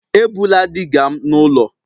Ebula digger m n'ụlọ!